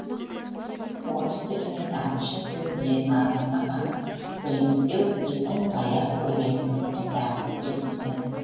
орыс тілі мен ағылшын тілін білетін адамды ғана білімді деу біздің таяз ойлайтынымыздың тағы бір белгісі